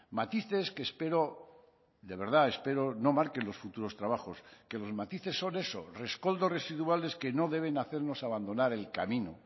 matices que espero de verdad espero no marquen los futuros trabajos que los matices son eso rescoldos residuales que no deben hacernos abandonar el camino